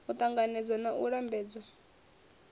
u ṱanganedzwa na u lambedzwa